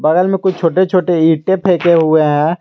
बगल में कुछ छोटे छोटे ईंटे फेंके हुए हैं।